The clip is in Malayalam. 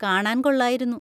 കാണാൻ കൊള്ളായിരുന്നു.